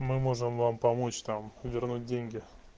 мы можем вам помочь там вернуть деньги